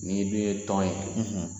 N'i dun ye tɔn in